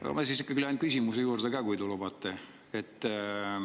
Aga ma ikkagi lähen küsimuse juurde ka, kui te lubate.